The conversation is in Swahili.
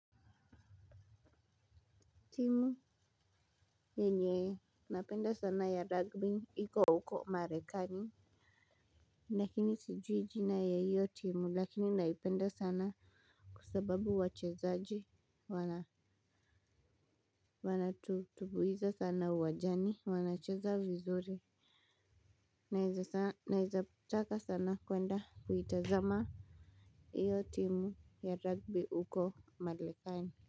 Timu yenye napenda sana ya rugby hiko huko marekani lakini sijui jina ya hiyo timu lakini naipenda sana. Kwa sababu wachezaji wanatutubuiza sana uwajani wanacheza vizuri. Naeza taka sana kwenda kuitazama. Iyo timu ya rugby huko marekani.